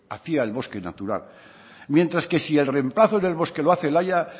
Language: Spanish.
hacía el bosque natural mientras que si el remplazo del bosque lo hace el haya